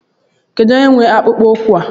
Kedụ onye nwe akpụkpọ ụkwụ a?